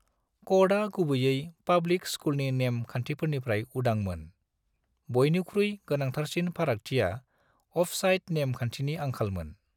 कडआ गुबैयै पब्लिक स्कुलनि नेम खान्थिफोरनिफ्राय उदांमोन, बुयनिख्रुइ गोनांथारसिन फारागथिया अफसाइड नेम खान्थिनि आंखालमोन।